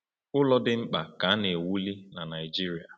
Ụlọ dị mkpa ka na-ewuli na Naijiria.